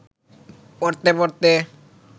পড়তে পড়তে